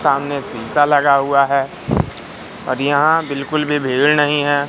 सामने शीशा लगा हुआ है और यहां बिल्कुल भी भीड़ नही है।